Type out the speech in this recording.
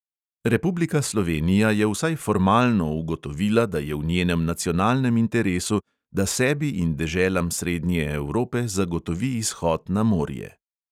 Republika slovenija je vsaj formalno ugotovila, da je v njenem nacionalnem interesu, da sebi in deželam srednje evrope zagotovi izhod na morje.